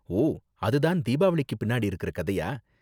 ஓ, அது தான் தீபாவளிக்கு பின்னாடி இருக்கற கதையா?